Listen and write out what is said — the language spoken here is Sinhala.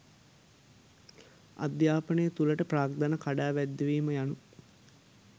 අධ්‍යාපනය තුළට ප්‍රාග්ධනය කඩාවැද්දවීම යනු